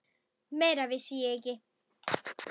Meira vissi ég ekki.